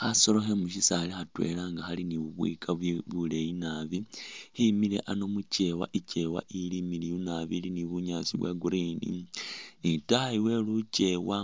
Khasolo khe mu syisaali khatwela nga khali ni bu bubwika buleeyi nabi, khemile ano mu kyeewa, ikyeewa ili imiliyu nabi ili bunyaasi bwa green ni itaayi we lukeewa